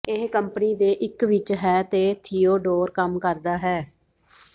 ਇਹ ਕੰਪਨੀ ਦੇ ਇੱਕ ਵਿੱਚ ਹੈ ਅਤੇ ਥੀਓਡੋਰ ਕੰਮ ਕਰਦਾ ਹੈ